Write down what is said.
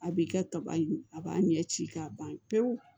A b'i kɛ kaba in a b'a ɲɛ ci k'a ban pewu